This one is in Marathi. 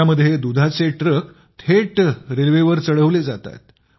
यामध्ये दुधाचे ट्रक थेट रेल्वेवर चढवले जातात